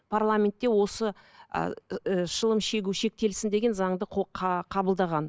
парламентте осы ііі шылым шегу шектелсін деген заңды қабылдаған